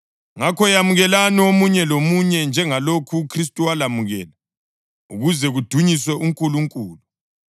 Ngakho yamukelani omunye lomunye njengalokhu uKhristu walamukela, ukuze kudunyiswe uNkulunkulu.